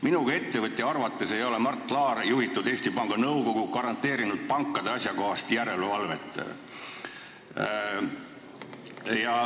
Minu kui ettevõtja arvates ei ole Mart Laari juhitud Eesti Panga Nõukogu garanteerinud pankade asjakohast järelevalvet.